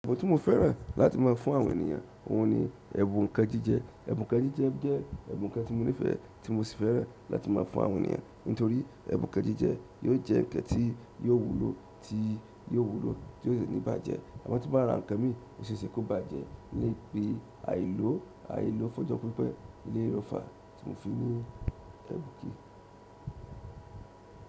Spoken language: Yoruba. Ẹ̀bùn tí mo fẹ́ràn láti má a fún àwọn ènìyàn, òhun ni ẹ̀bùn nkan jíjẹ. Ẹ̀bùn nkan jíjẹ́ je ẹ̀bùn kan ti monífẹ̀ tí mo sì fẹ́ràn láti má a fún àwọn ènìyàn, nítorí ẹ̀bùn nkan jíjẹ yóò jẹ́ ǹkan tí yóò wúlò tí yóò wúlò tí ko si ní bàjẹ́. Amo tí n ba rá ǹkan mi o ṣe é ṣe kó bàjẹ́ ni pé àìló àìló fọ́jọ́ pípẹ́ eleyii lo fa tí mò fi ní ẹ̀bùn kì í.